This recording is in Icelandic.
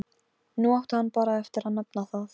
Nú átti hann bara eftir að nefna það.